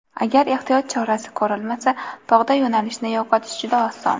Agar ehtiyot chorasi ko‘rilmasa, tog‘da yo‘nalishni yo‘qotish juda oson.